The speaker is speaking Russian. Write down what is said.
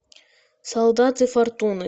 солдаты фортуны